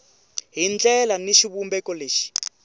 hi ndlela ni xivumbeko lexi